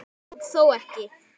Og þó ekki.